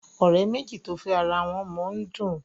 òré méjì to fè àrà wón mọ ń dùn.